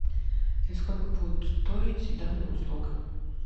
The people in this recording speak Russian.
и сколько будет стоить данная услуга